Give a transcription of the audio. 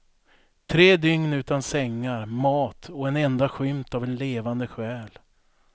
Tre dygn utan sängar, mat och en enda skymt av en levande skäl.